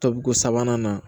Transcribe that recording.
Tobiko sabanan na